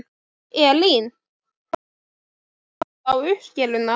Elín: Hvaða áhrif hefur það á uppskeruna?